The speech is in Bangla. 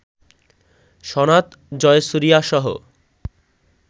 সনাথ জয়সুরিয়াসহ